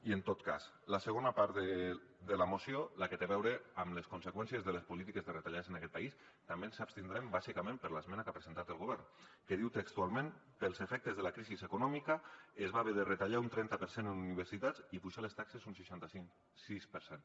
i en tot cas en la segona part de la moció la que té a veure amb les conseqüències de les polítiques de retallades en aquest país també ens abstindrem bàsicament per l’esmena que ha presentat el govern que diu textualment pels efectes de la crisi econòmica es va haver de retallar un trenta per cent en universitats i apujar les taxes un seixanta sis per cent